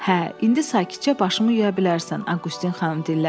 Hə, indi sakitcə başımı yuya bilərsən, Auqustin xanım dilləndi.